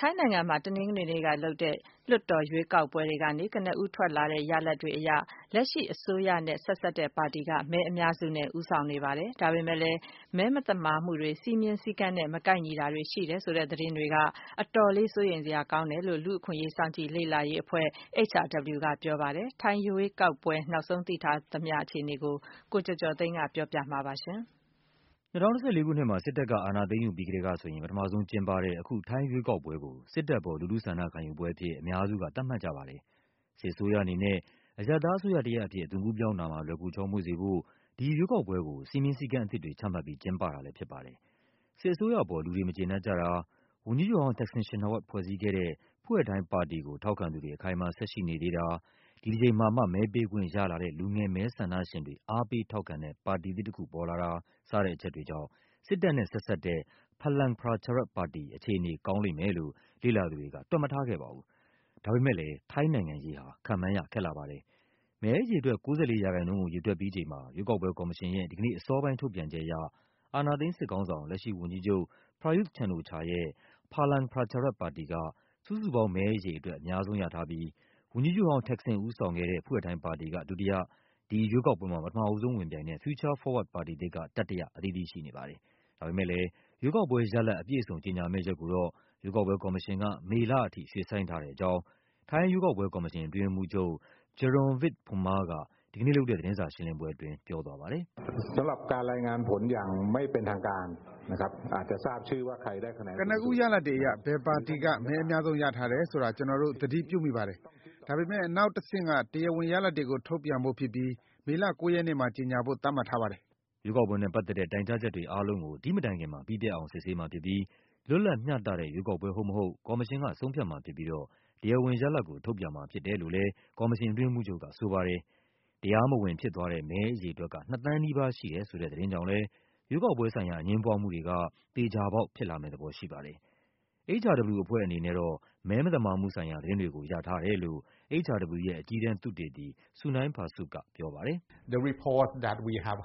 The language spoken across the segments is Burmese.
ထိုင်းနိုင်ငံမှာ တနင်္ဂနွေနေ့ကလုပ်တဲ့ လွှတ်တော် ရွေးကောက်ပွဲတွေကနေ ကနဦးထွက်လာတဲ့ ရလဒ်တွေအရ လက်ရှိစစ်အစိုးရနဲ့ ဆက်စပ်တဲ့ပါတီက မဲအများစုနဲ့ ဦးဆောင်နေပါတယ်။ ဒါပေမယ့်လည်း မဲမသမာမှုတွေ၊ စည်းမျဉ်းစည်းကမ်းနဲ့ မကိုက်ညီတာတွေ ရှိတယ်ဆိုတဲ့ သတင်းတွေက အတော်လေး စိုးရိမ်စရာ ကောင်းတယ်လို့ လူ့အခွင့်အရေး စောင့်ကြည့်လေ့လာ ရေးအဖွဲ့ HRW ကပြောပါတယ်။ ထိုင်းရွေးကောက်ပွဲ နောက်ဆုံးသိထားရသမျှ အခြေအနေကို ကိုကျော်ကျော်သိန်းက ပြောပြပါမယ်။ ၂၀၁၄ ခုနှစ်မှာ စစ်တပ်က အာဏာ သိမ်းယူပြီးကတည်းကဆိုရင် ပထမဆုံးကျင်းပတဲ့ အခု ထိုင်းရွေးကောက်ပွဲကို စစ်တပ် အပေါ် လူထု ဆန္ဒခံယူပွဲအဖြစ် အများစုက သတ်မှတ်ကြပါတယ်။ စစ် အစိုးရအနေနဲ့ အရပ်သားအစိုးရတရပ်အဖြစ် အသွင်ကူး ပြောင်းတာမှာ လွယ်ကူချောမွေ့စေဖို့ ဒီရွေးကောက်ပွဲကို စည်းမျဉ်း စည်းကမ်းအသစ်တွေ ချမှတ်ပြီး ကျင်းပတာလည်း ဖြစ်ပါတယ်။ စစ်အစိုးရအပေါ် လူတွေ မကျေနပ်ကြတာ၊ ဝန်ကြီးချုပ်ဟောင်း Thaksin Shinawatra ဖွဲ့စည်းခဲ့တဲ့ Pheu Thai ပါတီကို ထောက်ခံသူတွေ အခိုင်အမာ ဆက်ရှိနေသေးတာ၊ ဒီတကြိမ်မှာမှ မဲပေးခွင့်ရလာတဲ့ လူငယ်မဲ ဆန္ဒရှင်တွေ အားပေးထောက်ခံတဲ့ ပါတီသစ် တခုပေါ်လာတာ စတဲ့ အချက်တွေကြောင့် စစ်တပ်နဲ့ ဆက်စပ်တဲ့ Phalang Pracharat ပါတီ အခြေအနေ ကောင်းလိမ့်မယ်လို့ လေ့လာသူတွေက တွက်မထားခဲ့ပါဘူး။ ဒါပေမယ့်လည်း ထိုင်းနိုင်ငံရေးဟာ ခန့်မှန်းရ ခက်လှပါတယ်။ မဲအရေအတွက် ၉၄ ရာခိုင်နှုန်း ကို ရေတွက်ပြီးချိန်မှာ ရွေးကောက်ပွဲ ကော်မရှင်ရဲ့ ဒီကနေ့အစောပိုင်း ထုတ်ပြန်ချက်အရ အာဏာသိမ်း စစ်ခေါင်းဆောင် လက်ရှိဝန်ကြီးချုပ် Prayuth Chan-ocha ရဲ့ Phalang Pracharat ပါတီက စုစုပေါင်းမဲ အရေအတွက် အများဆုံးရထားပြီး ဝန်ကြီးချုပ်ဟောင်း Thaksin ဦးဆောင်ခဲ့တဲ့ Pheu Thai ပါတီက ဒုတိယ၊ ဒီရွေးကောက်ပွဲမှာ ပထမဆုံးဝင်ပြိုင်တဲ့ Future Forward ပါတီသစ်က တတိယ အသီးသီး ရှိနေပါတယ်။ ဒါပေမယ့်လည်း ရွေးကောက်ပွဲရလဒ် အပြည့်အစုံ ကြေညာမယ့် ရက်ကိုတော့ ရွေးကောက်ပွဲ ကော်မရှင်က မေလအထိ ရွှေ့ဆိုင်းထားတဲ့ အကြောင်း ထိုင်း ရွေးကောက်ပွဲ ကော်မရှင် အတွင်းရေးမှူးချုပ် Jarungvith Phumma က ဒီကနေ့လုပ်တဲ့ သတင်းစာ ရှင်းလင်းပွဲအတွင်း ပြောသွားပါတယ်။ “ကနဦး ရလဒ်တွေအရ ဘယ်ပါတီက မဲအများဆုံး ရထားတယ်ဆိုတာ ကျနော်တို့ သတိပြုမိပါတယ်။ ဒါပေမယ့် နောက် တဆင့်က တရားဝင်ရလဒ်တွေကို ထုတ်ပြန်ဖို့ဖြစ်ပြီး မေလ ၉ ရက်နေ့မှာ ကြေညာဖို့ သတ်မှတ်ထားပါတယ်။” ရွေးကောက်ပွဲနဲ့ ပတ်သက်တဲ့ တိုင်ကြားချက်တွေ အားလုံးကို ဒီ့မတိုင်ခင်မှာ ပြီးပြတ်အောင် စစ်ဆေးမှာ ဖြစ်ပြီး လွတ်လပ်မျှတတဲ့ ရွေးကောက်ပွဲ ဟုတ်မဟုတ် ကော်မရှင်က ဆုံးဖြတ်မှာ ဖြစ်ပြီးတော့ တရားဝင်ရလဒ်ကို ထုတ်ပြန်မှာ ဖြစ်တယ်လို့လည်း ကော်မရှင် အတွင်းရေးမှူးချုပ်က ဆိုပါတယ်။ တရားမဝင် ဖြစ်သွားတဲ့ မဲ အရေအတွက်က ၂ သန်းနီးပါး ရှိတယ်ဆိုတဲ့ သတင်းကြောင့်လည်း ရွေးကောက်ပွဲ ဆိုင်ရာ အငြင်းပွားမှုတွေက သေချာပေါက် ဖြစ်လာမယ့် သဘော ရှိပါတယ်။ HRW အဖွဲ့အနေနဲ့တော့ မဲ မသမာမှုဆိုင်ရာ သတင်းတွေကို ရထားတယ်လို့ HRW ရဲ့ အကြီးတန်း သုတေသီ Sunai Phasuk က ပြောပါတယ်။ “ကျနော်တို့ ကြားထား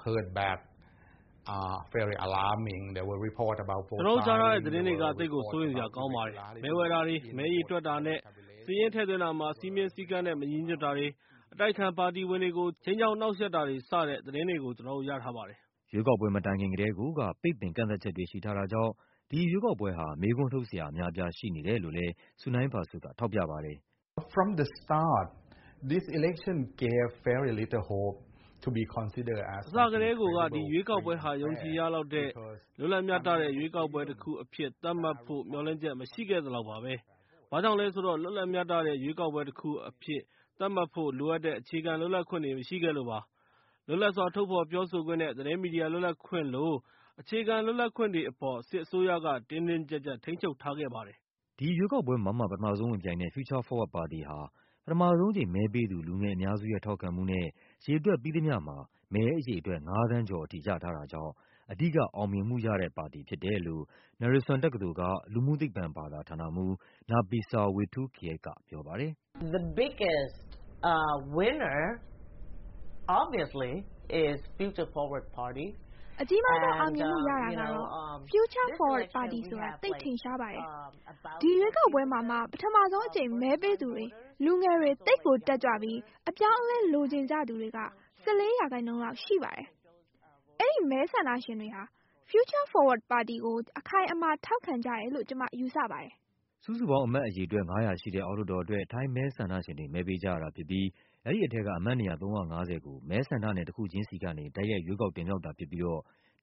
တဲ့ သတင်းတွေက သိပ်ကို စိုးရိမ်စရာ ကောင်းပါတယ်။ မဲ ဝယ်တာတွေ၊ မဲ ရေတွက်တာနဲ့ စာရင်း ထည့်သွင်းတာမှာ စည်းမျဉ်း စည်းကမ်းနဲ့ မညီညွတ်တာတွေ၊ အတိုက်အခံ ပါတီဝင်တွေကို ခြိမ်းခြောက် နှောင့်ယှက်တာတွေ စတဲ့ သတင်းတွေကို ကျနော်တို့ ရထားပါတယ်။” ရွေးကောက်ပွဲ မတိုင်ခင်ကတည်းကိုက ပိတ်ပင် ကန့်သတ်ချက်တွေ ရှိထားတာကြောင့် ဒီရွေးကောက်ပွဲဟာ မေးခွန်းထုတ်စရာ အများအပြား ရှိနေတယ်လို့လည်း Sunai Phasuk က ထောက်ပြပါတယ်။ “အစကတည်းကိုက ဒီရွေးကောက်ပွဲဟာ ယုံကြည်ရလောက်တဲ့ လွတ်လပ်မျှတတဲ့ ရွေးကောက်ပွဲ တခုအဖြစ် သတ်မှတ်ဖို့ မျှော်လင့်ချက် မရှိခဲ့သလောက်ပါပဲ။ ဘာကြောင့်လဲ ဆိုတော့ လွတ်လပ် မျှတတဲ့ ရွေးကောက်ပွဲ တခုအဖြစ် သတ်မှတ်ဖို့ လိုအပ်တဲ့ အခြေခံ လွတ်လပ်ခွင့်တွေ မရှိခဲ့လို့ပါ။ လွတ်လပ်စွာ ထုတ်ဖော် ပြောဆိုခွင့်နဲ့ သတင်းမီဒီယာ လွတ်လပ်ခွင့်လို အခြေခံ လွတ်လပ်ခွင့်တွေအပေါ် စစ်အစိုးရက တင်းတင်းကျပ်ကျပ် ထိန်းချုပ်ထားခဲ့ပါတယ်။” ဒီရွေးကောက်ပွဲမှာမှ ပထမဆုံး ဝင်ပြိုင်တဲ့ Future Forward ပါတီဟာ ပထမဆုံးအကြိမ် မဲပေးသူ လူငယ်အများစုရဲ့ ထောက်ခံမှုနဲ့ ရေတွက်ပြီးသမျှမှာ မဲအရေအတွက် ၅ သန်းကျော်အထိ ရထားတာကြောင့် အဓိက အောင်မြင်မှုရတဲ့ ပါတီ ဖြစ်တယ်လို့ Naresuan တက္ကသိုလ်က လူမှုသိပ္ပံဘာသာ ဌာနမှူး Napisa Waitoolkiat ကပြောပါတယ်။ “အကြီးမားဆုံး အောင်မြင်မှု ရတာကတော့ Future Forward ပါတီဆိုတာ သိပ်ထင်ရှားပါတယ်။ ဒီရွေးကောက်ပွဲမှာ မှ ပထမဆုံး အကြိမ် မဲပေးသူတွေ၊ လူငယ်တွေ၊ သိပ်ကိုတက်ကြွပြီး အပြောင်းအလဲ လိုချင်ကြသူတွေက ၁၄ ရာခိုင်နှုန်း လောက်ရှိပါတယ်။ အဲဒီ မဲ ဆန္ဒရှင်တွေဟာ Future Forward ပါတီကို အခိုင်အမာ ထောက်ခံကြတယ်လို့ ကျမ ယူဆပါတယ်။” စုစုပေါင်း အမတ်အရေအတွက် ၅၀၀ ရှိတဲ့ အောက်လွှတ်တော်အတွက် ထိုင်းမဲ ဆန္ဒရှင်တွေ မဲပေးကြရတာဖြစ်ပြီး အဲဒီထဲက အမတ်နေရာ ၃၅၀ ကို မဲဆန္ဒနယ် တခုချင်းစီကနေ တိုက်ရိုက် ရွေးကောက် တင်မြှောက်တာဖြစ်ပြီးတော့ ၁၅၀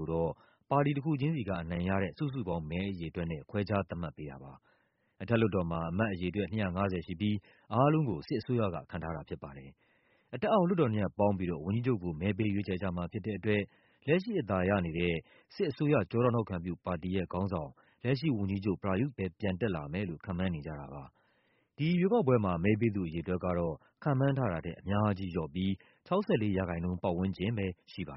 ကိုတော့ ပါတီတခု ချင်းစီကအနိုင်ရတဲ့ စုစုပေါင်းမဲ အရေအတွက်နဲ့ ခွဲခြားသတ်မှတ်ပေးတာပါ။ အထက်လွှတ်တော်မှာ အမတ်အရေအတွက် ၂၅၀ ရှိပြီး အားလုံးကို စစ်အစိုးရက ခန့်ထားတာ ဖြစ်ပါတယ်။ အထက်အောက် လွှတ်တော် ၂ ရပ် ပေါင်းပြီးတော့ ဝန်ကြီးချုပ်ကို မဲပေး ရွေးချယ်ကြမှာ ဖြစ်တဲ့အတွက် လက်ရှိ အသာရနေတဲ့ စစ်အစိုးရ ကျောထောက်နောက်ခံပြု ပါတီရဲ့ ခေါင်းဆောင် လက်ရှိ ဝန်ကြီးချုပ် Prayuth ပဲ ပြန်တက်လာမယ်လို့ ခန့်မှန်းနေကြတာပါ။ ဒီ ရွေးကောက်ပွဲမှာ မဲပေးသူ အရေအတွက်ကတော့ ခန့်မှန်းထားတာထက် အများကြီးလျော့ပြီး ၆၄ ရာခိုင်နှုန်း ပတ်ဝန်းကျင်ပဲ ရှိပါတယ်